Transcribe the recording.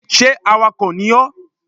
Sé awakọ̀ ni ọ?